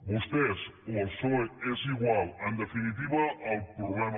vostès o el psoe és igual en definitiva el problema